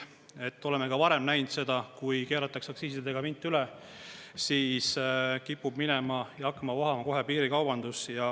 Me oleme ka varem näinud seda, et kui keeratakse aktsiisidega vint üle, siis kipub minema ja hakkama vohama kohe piirikaubandus.